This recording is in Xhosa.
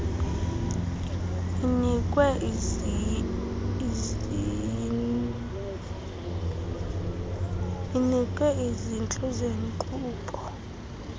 inikwe izintlu zeenkqubo